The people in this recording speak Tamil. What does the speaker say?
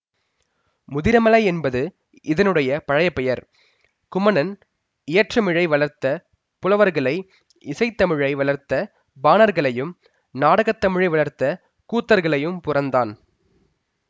முதிரமலை என்பது இதனுடைய பழைய பெயர் குமணன் இயற்றமிழை வளர்த்த புலவர்களையும் இசைத்தமிழை வளர்த்த பாணர்களையும் நாடகத்தமிழை வளர்த்த கூத்தர்களையும் புரந்தான்